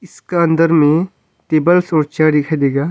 इसका अंदर में टेबल और चेयर दिखाई देगा।